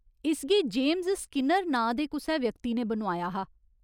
इसगी James Skinner नांऽ दे कुसै व्यक्ति ने बनोआया हा।